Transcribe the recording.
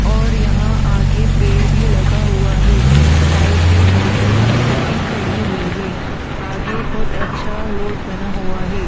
और यहां आगे पेड़ भी लगा हुआ है। साइड में मोटरसाइकिल भी खड़ी हुई है। आगे बहुत अच्छा रोड बना हुआ है।